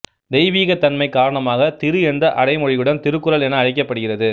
தெய்வீகத்தன்மை காரணமாகத் திரு என்ற அடைமொழியுடன் திருக்குறள் என அழைக்கப்படுகிறது